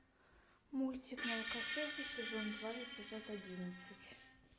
мультик молокососы сезон два эпизод одиннадцать